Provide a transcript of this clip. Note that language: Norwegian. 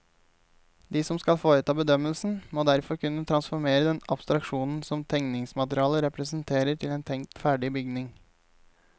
De som skal foreta bedømmelsen, må derfor kunne transformere den abstraksjonen som tegningsmaterialet representerer til en tenkt ferdig bygning.